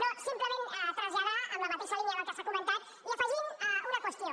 no simplement traslladar en la mateixa línia del que s’ha comentat i afegint una qüestió